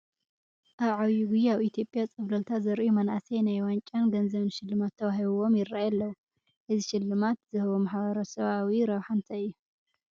ኣብ ዓብዪ ጉያ ኣብ ኢትዮጵያ ፀብለልታ ዘርእዩ መናእሰይ ናይ ዋንጫን ገንዘብን ሽልማት ተዋሂቡዎም ይርአዩ ኣለዉ፡፡ እዚ ሽልማት ዝህቦ ማሕበረሰባዊ ረብሓ እንታይ እዩ?